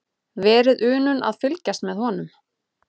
Verið unun að fylgjast með honum.